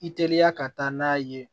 I teliya ka taa n'a ye